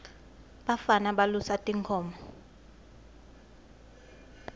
bafana balusa tinkhomo